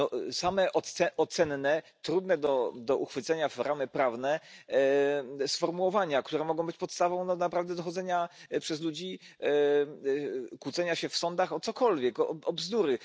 No same ocenne, trudne do uchwycenia w ramy prawne sformułowania, które mogą być podstawą do naprawdę dochodzenia przez ludzi, kłócenia się w sądach o cokolwiek, o bzdury.